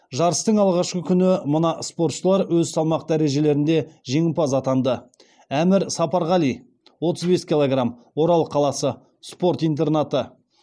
жарыстың алғашқы күні мына спортшылар өз салмақ дәрежелерінде жеңімпаз атанды әмір сапарғали отыз бес килограмм орал қаласы спорт интернаты